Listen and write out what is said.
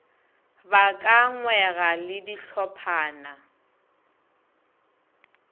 ba ka ngwega le dihlophana